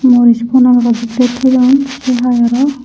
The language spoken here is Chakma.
morij bonaguri siyot thoi don sey hai aro.